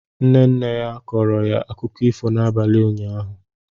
Nne nne ya kọọrọ ya akụkọ ifo n'abalị ụnyahụ